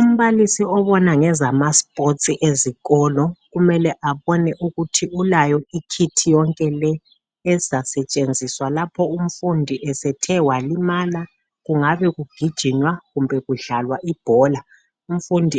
Umbalisi obona ngezama. sports ezikolo .Kumele abone ukuthi ulayo ikit yonke le ezisetshenziswa lapho umfundi esethe walimala .Kungabe kugijinywa kumbe kudlalwa ibhola umfundi